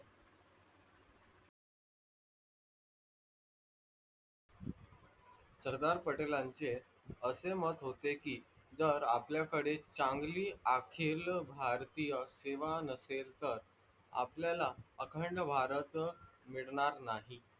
सरदार पटेलांचे असे मत होते की जर आपल्या कडे सांगली भारतीय सीमा नसेल तर, आपल्याला अखंड भारत मिडणार नाही.